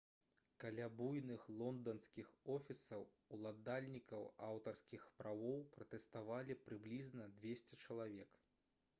каля буйных лонданскіх офісаў уладальнікаў аўтарскіх правоў пратэставалі прыблізна 200 чалавек